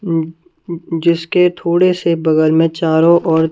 अहं जिसके थोड़े से बगल में चारों ओर--